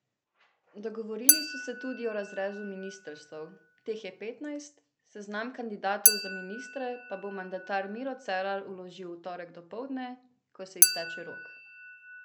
Dogovorili so se tudi o razrezu ministrstev, teh je petnajst, seznam kandidatov za ministre pa bo mandatar Miro Cerar vložil v torek dopoldne, ko se izteče rok.